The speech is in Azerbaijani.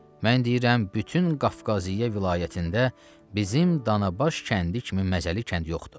Mən deyirəm, bütün Qafqaziyə vilayətində bizim Danabaş kəndi kimi məzəli kənd yoxdur.